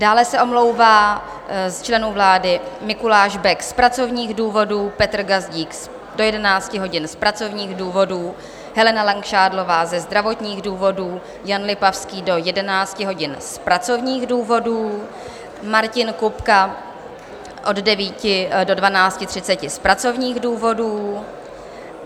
Dále se omlouvá z členů vlády Mikuláš Bek z pracovních důvodů, Petr Gazdík do 11 hodin z pracovních důvodů, Helena Langšádlová ze zdravotních důvodů, Jan Lipavský do 11 hodin z pracovních důvodů, Martin Kupka od 9 do 12.30 z pracovních důvodů.